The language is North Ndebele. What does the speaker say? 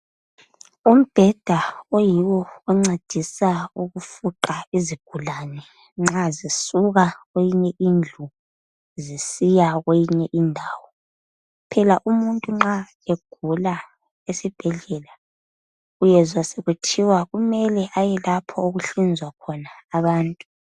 Umbheda oyiwo oncedisa ukufuqa izigulane nxa zisuka kweyinye indlu zisiya kweyinye indawo. Phela umuntu nxa egula esibhedlela uyezwa sekuthiwa kumele ayelapho okuhlinzwa khona abantu.